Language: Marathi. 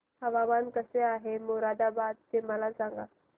हवामान कसे आहे मोरादाबाद चे मला सांगा